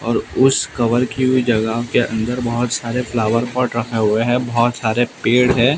और उस कवर की हुई जगह के अंदर बहुत--